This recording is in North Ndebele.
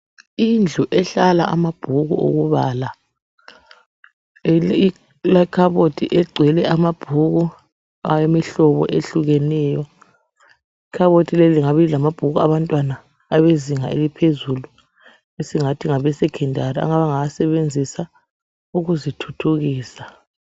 Indlu ehlala amabhuku okubala, kulekhabothi egcwele amabhuku awemihlobo ehlukeneyo, ikhabothi leyi lingabe lilamabhuku abantwana abezinga eliphezulu esingathi ngabe Secondary ,abangawasebenzisa ukuzithuthukisa.